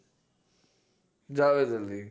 Javed Ali